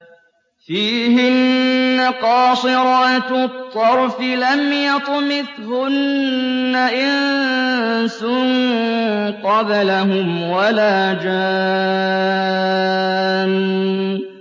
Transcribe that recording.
فِيهِنَّ قَاصِرَاتُ الطَّرْفِ لَمْ يَطْمِثْهُنَّ إِنسٌ قَبْلَهُمْ وَلَا جَانٌّ